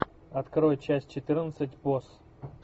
открой часть четырнадцать босс